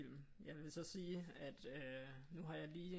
Jeg vil så sige at øh nu har jeg lige